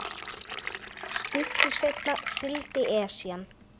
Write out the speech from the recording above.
Stuttu seinna sigldi Esjan